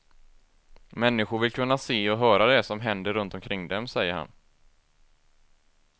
Människor vill kunna se och höra det som händer runt omkring dem, säger han.